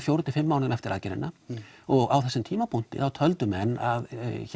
fjórum til fimm mánuðum eftir aðgerðina og á þessum tímapuntki töldu menn að